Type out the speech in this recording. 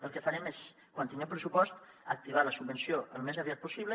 el que farem és quan tinguem pressupost activar la subvenció al més aviat possible